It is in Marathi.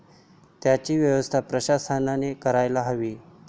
त्यांची व्यवस्था प्रशासनाने करायला हवी.